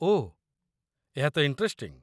ଓଃ, ଏହା ତ ଇଣ୍ଟରେଷ୍ଟିଙ୍ଗ୍ ।